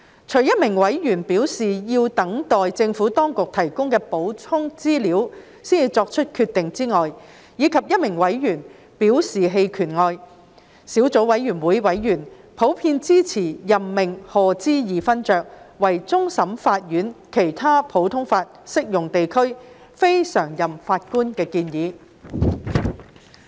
除一名委員表示要等待政府當局提供的補充資料才作決定，以及一名委員表示棄權外，小組委員會委員普遍支持任命賀知義勳爵為終審法院其他普通法適用地區非常任法官的建議。